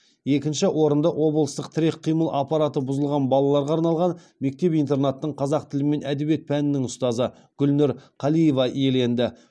екінші орынды облыстық тірек қимыл аппараты бұзылған балаларға арналған мектеп интернаттың қазақ тілі мен әдебиеті пәнінің ұстазы гүлнұр қалиева иеленді